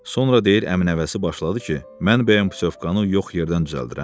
Sonra deyir əmi nəvəsi başladı ki, mən bəyəm putyovkanı yox yerdən düzəldirəm?